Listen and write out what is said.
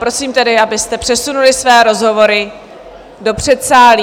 Prosím tedy, abyste přesunuli své rozhovory do předsálí.